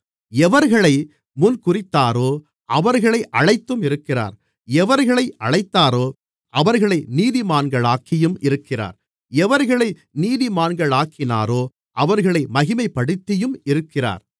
எவர்களை முன்குறித்தாரோ அவர்களை அழைத்தும் இருக்கிறார் எவர்களை அழைத்தாரோ அவர்களை நீதிமான்களாக்கியும் இருக்கிறார் எவர்களை நீதிமான்களாக்கினாரோ அவர்களை மகிமைப்படுத்தியும் இருக்கிறார்